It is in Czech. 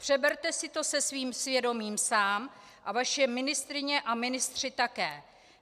Přeberte si to se svým svědomím sám a vaše ministryně a ministři také.